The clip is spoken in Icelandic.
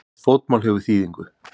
Hvert fótmál hefur þýðingu.